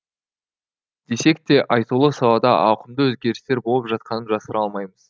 десек те айтулы салада ауқымды өзгерістер болып жатқанын жасыра алмаймыз